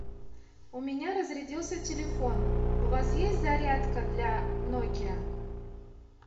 у меня разрядился телефон у вас есть зарядка для нокиа